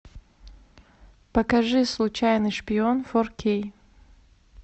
покажи случайный шпион фор кей